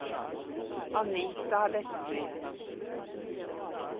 Anita Westby